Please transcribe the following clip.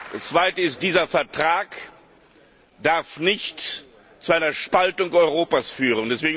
Das Zweite ist Dieser Vertrag darf nicht zu einer Spaltung Europas führen.